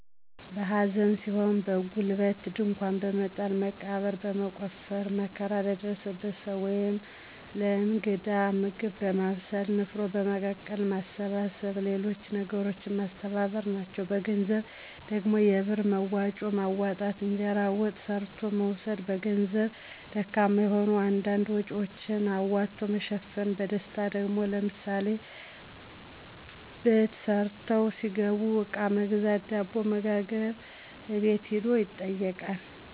በሐዘን ሲሆን በጉልበት ድንኳን በመጣል መቃብር በመቆፈር መከራ ለደረሰበት ሰዉ ወይም ለእንግዳ ምግብ በማብሰል፣ ንፍሮ በመቀቀል፣ ማሰባሰብ ሌሎች ነገሮችን ማስተባበር፣ ናቸዉ። በገንዘብ ደግሞ የብር መዋጮ ማዋጣት፣ እንጀራና ወጥ ሰርቶ መውሰድ በገንዘብ ደካማ ከሆኑ አንዳንድ ወጭወችን አዋቶ መሸፈን ናቸዉ። በደስታ ደግሞ፦ ለምሳሌ በት ተሰርቶ ቢገባ አቃ በመግዛት፣ ዳቦ በመጋገር፣ አቤት ሂዶ ይጠይቃል።